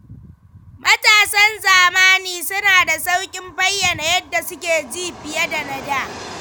Matasan zamani suna da sauƙin bayyana yadda suke ji fiye da na da.